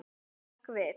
Hrökk við.